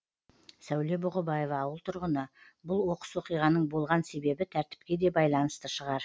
сәуле бұғыбаева ауыл тұрғыны бұл оқыс оқиғаның болған себебі тәртіпке де байланысты шығар